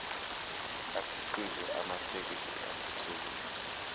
akhiqize amathekisthi athuthukile